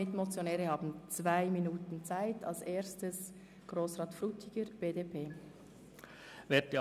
Mitmotionäre haben zwei Minuten Redezeit.